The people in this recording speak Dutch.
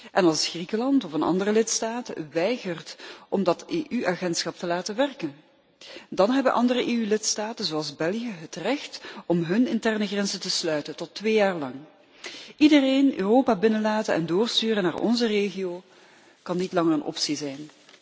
En als Griekenland of een andere lidstaten weigert om dat EU agentschap te laten werken, dan hebben andere EU lidstaten zoals België het recht om hun interne grenzen te sluiten, tot twee jaar lang. Iedereen in Europa binnenlaten en doorsturen naar onze regio kan niet langer een optie zijn.